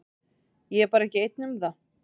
Ég er bara ekki einn um það.